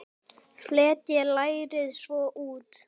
Fletjið lærið svo út.